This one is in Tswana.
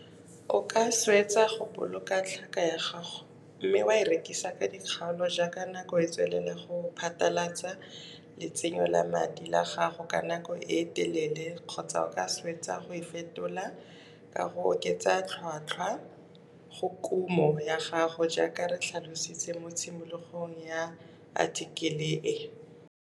O ka swetsa go boloka tlhaka ya gago mme wa e rekisa ka dikgaolo jaaka nako e tswelela go phatalatsa letsenyo la madi la gago ka nako e telele kgotsa o ka swetsa go e fetola ka go oketsa tlhotlhwa go kumo ya gago jaaka re tlhalositse mo tshimologong ya athikele e.